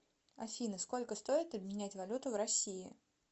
афина сколько стоит обменять валюту в россии